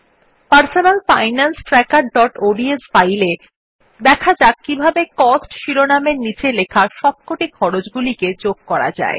আমাদের personal finance trackerঅডস file এ দেখা যাক কিভাবে কস্ট শিরোনামের নীচে লেখা সবকটি খরচ্ গুলিকে যোগ করা যায়